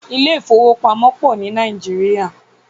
Ilé ifówópamọ́ pọ̀ ní Nàìjíríà